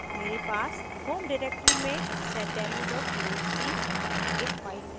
मेरे पास home directory में seddemo txt नामक एक file है